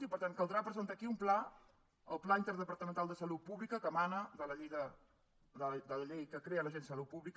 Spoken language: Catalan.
i per tant caldrà presentar aquí un pla el pla interdepartamental de salut pública que emana de la llei que crea l’agència de salut pública